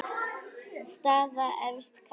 Staða efstu karla